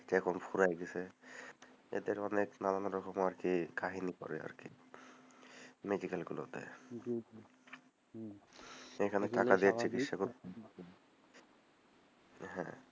এটা এখন ফুরায় গেছে, এদের অনেক নানা রকমের কাহানি করে আরকি medical গুলোতে, জি জি, হম এখানে টাকা দিয়ে চিকিৎসা , হ্যাঁ,